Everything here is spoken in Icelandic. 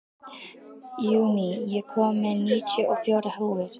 Júní, ég kom með níutíu og fjórar húfur!